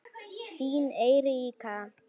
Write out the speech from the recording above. Þín Eiríka.